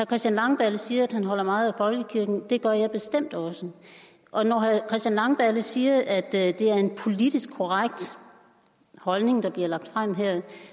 christian langballe siger at han holder meget af folkekirken det gør jeg bestemt også og når herre christian langballe siger at det er en politisk korrekt holdning der bliver lagt frem her